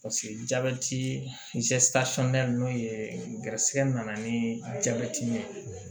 jabɛti n'o ye garisigɛ nana ni jabɛti ye